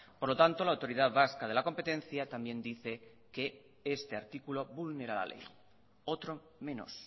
por lo tanto la autoridad vasca de la competencia también dice que este artículo vulnera la ley otro menos